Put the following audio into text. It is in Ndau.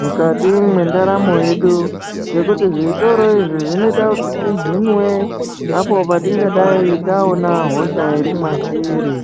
mukati mendaramo yedu ngekuti zvitoro izvi zvinoitwa tihinwe patingadai taona hosha iri matiri.